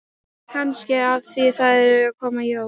Kannski af því að það eru að koma jól.